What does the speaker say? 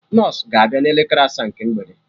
Nọsụ ga abịa na elekere asaa nke mgbede